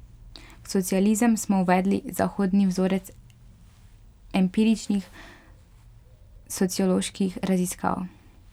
V socializem smo uvedli zahodni vzorec empiričnih socioloških raziskav.